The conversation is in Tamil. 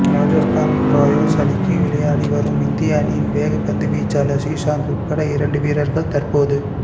ராஜஸ்தான் ரோயல் அணிக்காக விளையாடி வரும் இந்திய அணியின் வேகப்பந்து வீச்சாளர் ஸ்ரீசாந்த் உட்பட இரண்டு வீரர்கள் தற்போது